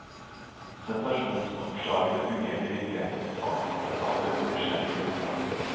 Sensasjonsoppslagene fungerte i virkeligheten som salgsplakater for nysgjerrig ungdom.